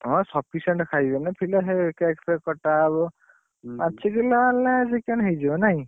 ହଁ sufficient ଖାଇବେନି ପିଲା ସେ cake ଫେକ କଟାହବ। ପାଞ୍ଚ କିଲେ ଆଣିଲେ chicken ହେଇଯିବ ନାଇ?